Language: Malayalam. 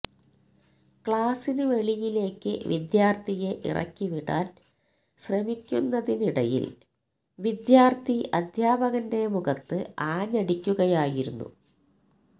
ക്ലാസിന് വെളിയിലേക്ക് വിദ്യാര്ഥിയെ ഇറക്കി വിടാന് ശ്രമിക്കുന്നതിന് ഇടയില് വിദ്യാര്ഥി അധ്യാപകന്റെ മുഖത്ത് ആഞ്ഞടിക്കുകയായിരുന്നു